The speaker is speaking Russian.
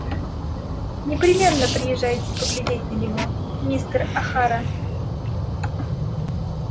непременно приезжайте поглядеть на него мистер охара